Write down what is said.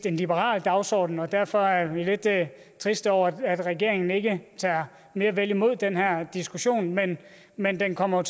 en liberal dagsorden og derfor er vi lidt triste over at regeringen ikke tager mere vel imod den her diskussion men men den kommer